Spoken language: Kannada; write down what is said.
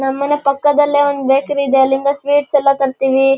ನಮ್ಮನೆ ಪಕ್ಕದಲ್ಲಿ ಒಂದು ಬೇಕರಿ ಇದೆ. ಅಲ್ಲಿಂದ ಸ್ವೀಟ್ಸ್ ಎಲ್ಲ ತರ್ತಿವಿ.